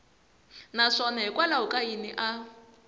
naswona hikwalaho ka yini a